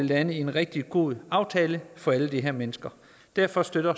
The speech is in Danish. landes en rigtig god aftale for alle de her mennesker derfor støtter